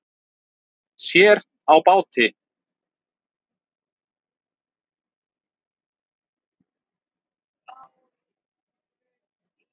Sér á báti